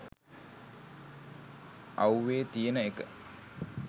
අව්වේ තියන එක.